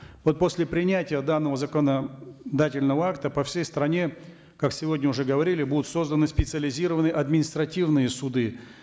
вот после принятия данного законодательного акта по всей стране как сегодня уже говорили будут созданы специализированные административные суды